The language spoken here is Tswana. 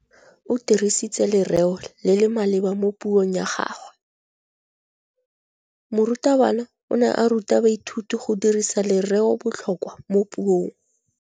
O dirisitse lerêo le le maleba mo puông ya gagwe. Morutabana o ne a ruta baithuti go dirisa lêrêôbotlhôkwa mo puong.